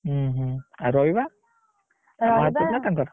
ହୁଁ ହୁଁ ଆଉ ରହିବା?